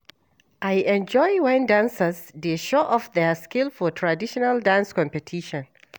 I enjoy wen dancers dey show off their skill for traditional dance competition.